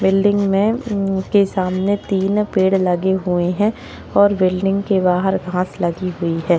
Building में उनके सामने तीन पेड़ लगे हुए हैं और बिल्डिंग के बाहर घास लगी हुई है।